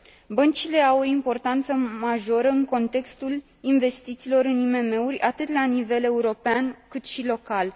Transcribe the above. Băncile au o importanță majoră în contextul investițiilor în IMM uri, atât la nivel european, cât și local.